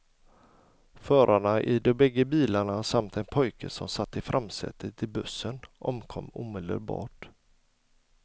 Förarna i de bägge bilarna samt en pojke som satt i framsätet i bussen omkom omedelbart.